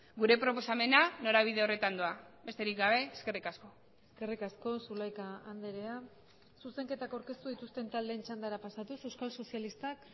gure proposamena norabide horretan doa besterik gabe eskerrik asko eskerrik asko zulaika andrea zuzenketak aurkeztu dituzten taldeen txandara pasatuz euskal sozialistak